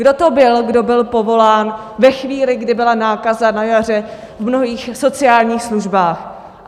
Kdo to byl, kdo byl povolán ve chvíli, kdy byla nákaza na jaře v mnohých sociálních službách?